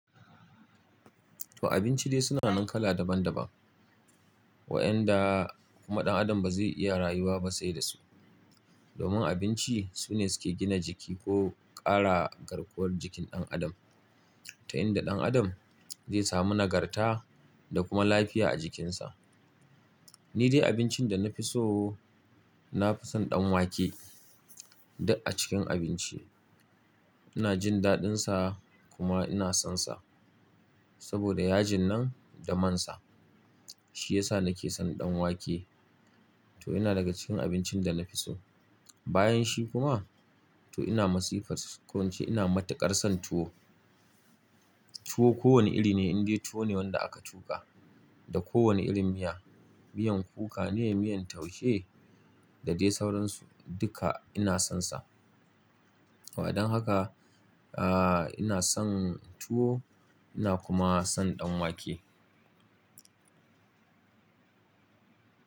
To abinci dai suna nan kala daban daban. Waƴanda kuma ɗan adam bazai iya rayuwa ba sai dasu. Domin abinci sune suke gina jiki ko ƙara garkuwar jikin ɗan adam. Ta inda ɗan adam zai samu nagarta da kuma lafiya a jikinsa. Ni dai abincin da na fi so, na fi son ɗan wake da a cikin abinci. Ina jin daɗinsa kuma ina sonsa. Saboda yajin nan da mansa, shi yasa nake son ɗan wake. To yana daga cikin abincin da na fi so. Bayanshi kuma, to ina masifar su ƙu ince ina mata karsan tuwo. Tuwo ko wane iri ne in dai tuwo ne wanda aka tuƙa da kowane irin miya. Miyan kuka ne, miyan taushe da dai sauransu duka ina sonsa. Waɗannan haka, ah, ina son tuwo ina kuma son ɗan wake.